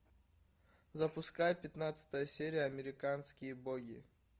запускай пятнадцатая серия американские боги